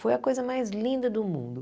Foi a coisa mais linda do mundo.